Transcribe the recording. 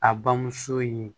A bamuso ye